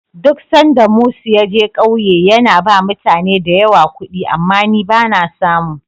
Duk sanda Mus ya je ƙauye, yana ba mutane da yawa kuɗi, amma ni ba na samu.